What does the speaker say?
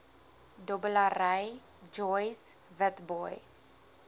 dobbelary joyce witbooi